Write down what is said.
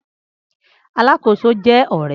Alákóso jẹ ọrẹ